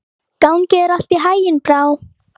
Gangi þér allt í haginn, Brá.